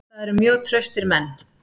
Það eru mjög traustir menn.